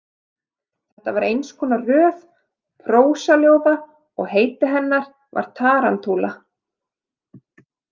Þetta var eins konar röð prósaljóða og heiti hennar var Tarantula.